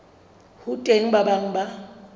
ho teng ba bang ba